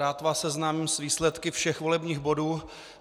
Rád vás seznámím s výsledky všech volebních bodů.